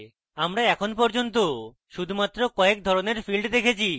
আমরা এখন পর্যন্ত শুধুমাত্র কয়েক ধরণের fields দেখেছি